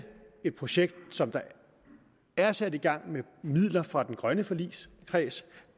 et projekt som er sat i gang med midler fra den grønne forligskreds